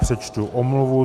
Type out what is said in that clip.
Přečtu omluvu.